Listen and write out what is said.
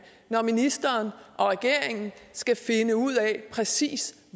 når ministeren og regeringen skal finde ud af præcis